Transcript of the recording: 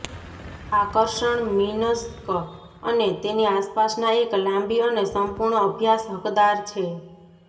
આકર્ષણ મિન્સ્ક અને તેની આસપાસના એક લાંબી અને સંપૂર્ણ અભ્યાસ હકદાર છે